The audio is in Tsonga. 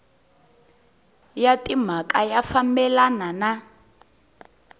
ya timhaka ya fambelana na